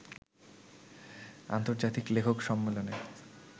আন্তর্জাতিক লেখক সম্মেলনে